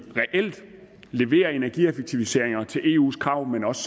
reelt leverer energieffektiviseringer i forhold til eus krav men også